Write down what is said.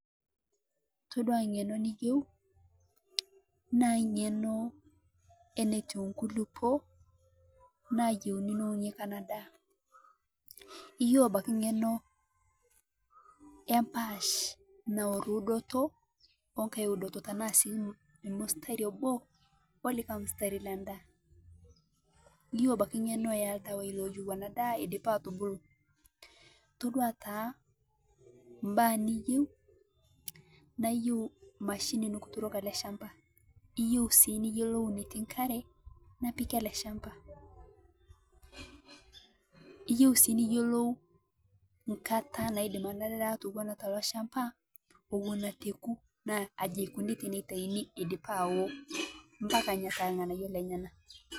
Todua niado niyeu naa ng'enoo netweu nkulupoo nayeuni neuniaki anaa daah ,iyeu abaki ng'enoo yee mpaash nawor udoto ooh nkai udoto tanaa sii mstari oboo ooh lekai mstari lendaa iyeu abaki ng'enoo iyeu abaki ng'enoo eeh ldawai loyeu anaa daa edipaa atubolo' todua taa mbaa niyeu naa iyeu mashini nikituroki alee shambaa iyeu sii niyelou netii nkare napiki alee shambaa iyeu sii niyelou nkataa naidem nia daa atowuna toloshamba owuno etoku naa ajekoni tenetaini edipaa awoo mpaka ning'asu anyaa ng'anayuo lenyana .